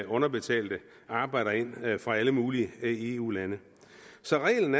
underbetalte arbejdere ind fra alle mulige eu lande så reglen